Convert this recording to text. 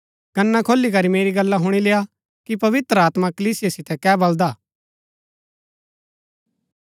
कना खोली करी मेरी गल्ला हुणी लेय्आ कि पवित्र आत्मा कलीसिया सितै कै बलदा हा